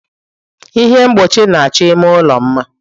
Ihe mgbochi na-achọ ime ụlọ mma.